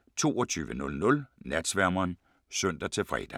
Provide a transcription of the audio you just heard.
22:00: Natsværmeren (søn-fre)